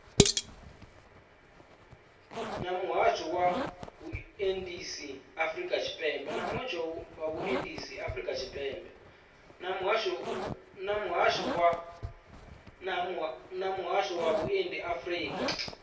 na muhasho wa vhuendisi afurika